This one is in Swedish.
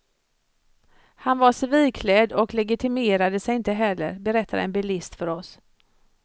Han var civilklädd och legitimerade sig inte heller, berättar en bilist för oss.